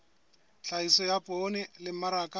tlhahiso ya poone le mmaraka